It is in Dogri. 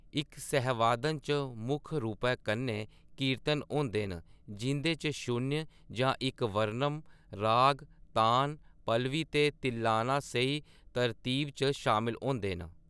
इक सहवादन च मुक्ख रूपै कन्नै कीर्तन होंदे न जिं’दे च शून्य जां इक वर्णम, राग, तान, पल्लवी ते तिल्लाना स्हेई तरतीब च शामल होंदे न।